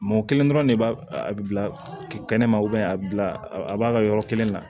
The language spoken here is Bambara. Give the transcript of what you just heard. Mɔ kelen dɔrɔn ne b'a bila kɛnɛ ma a bi bila a b'a ka yɔrɔ kelen na